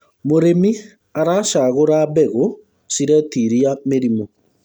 mũrĩmi aracagura mbegũ ciretiria mĩrimũ